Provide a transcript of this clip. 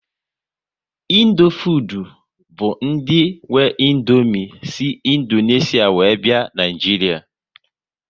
Indofood bụ ndị nwe Indomie si Indonesia were bịa Naịjiria